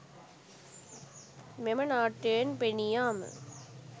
මෙම නාට්‍යයෙන් පෙනී යාම